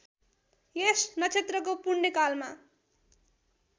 यस नक्षत्रको पुण्यकालमा